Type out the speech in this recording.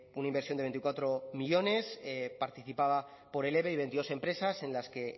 una inversión de veinticuatro millónes participada por el eve y veintidós empresas en las que